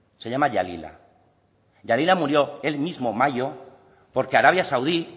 se llama yalila yalila murió el mismo mayo porque arabia saudí